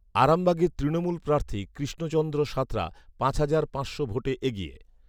আরামবাগে তৃণমূল প্রার্থী কৃষ্ণচন্দ্র সাঁতরা পাঁচ হাজার পাঁচশো ভোটে এগিয়ে৷